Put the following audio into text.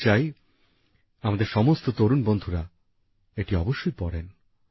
আমি চাই আমাদের সমস্ত তরুণ বন্ধুরা এটি অবশ্যই পড়েন